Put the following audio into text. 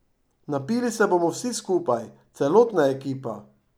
Napili se bomo vsi skupaj, celotna ekipa.